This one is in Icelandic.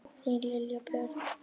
Þín Lilja Björg.